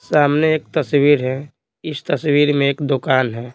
सामने एक तस्वीर है इस तस्वीर में एक दुकान है।